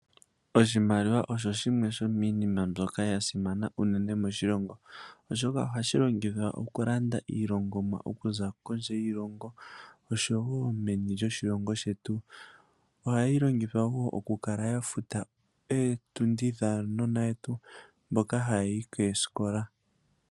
Oshimaliwa osho shimwe shomiinima mbyoka yasimana uunene moshilongo oshoka, ohashilongithwa okulanda iilongomwa okuza kondje yiilongo osho wo meni lyoshilongo shetu, ohayilongithwa wo okukala yafuta ootundi dhaanona yetu mboka hayayi koosikola.